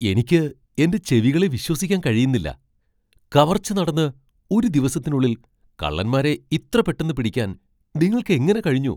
എനിക്ക് എന്റെ ചെവികളെ വിശ്വസിക്കാൻ കഴിയുന്നില്ല. കവർച്ച നടന്ന് ഒരു ദിവസത്തിനുള്ളിൽ കള്ളന്മാരെ ഇത്ര പെട്ടന്ന് പിടിക്കാൻ നിങ്ങൾക്ക് എങ്ങനെ കഴിഞ്ഞു?